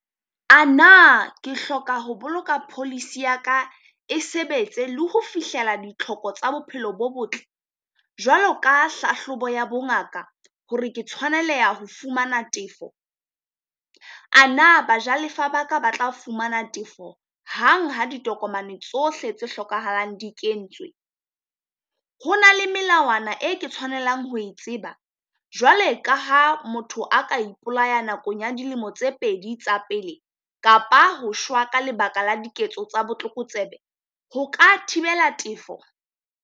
A na ke hloka ho boloka policy ya ka e sebetse le ho fihlela ditlhoko tsa bophelo bo botle jwalo ka hlahlobo ya bongaka hore ke tshwaneleha ho fumana tefo? A na bajalefa baka ba tla fumana tefo hang ha ditokomane tsohle tse hlokahalang di kentswe? Ho na le melawana e ke tshwanelang ho e tseba? Jwale ka ha motho a ka ipolaya nakong ya dilemo tse pedi tsa pele, kapa ho shwa ka lebaka la diketso tsa botlokotsebe, ho ka thibela tefo?